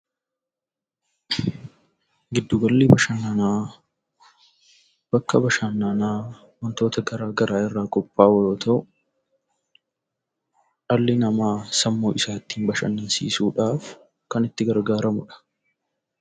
Giddu galli bashannanaa bakka bashannanaa wantoota garaa garaa irraa qophaa'u yoo ta'u, dhalli namaa sammuu isaa ittiin bashannansiisuudhaaf kan itti gargaaramudha.